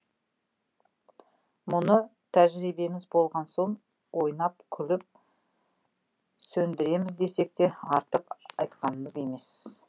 мұны тәжірибеміз болған соң ойнап күліп сөндіреміз десек те артық айтқанымыз емес